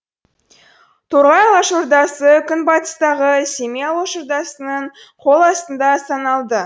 торғай алашордасы күнбатыстағы семей алашордасының қол астында саналды